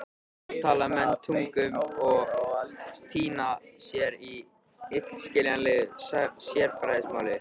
Oft tala menn tungum og týna sér í illskiljanlegu sérfræðimáli.